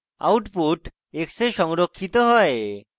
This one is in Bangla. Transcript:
output x এ সংরক্ষিত হয়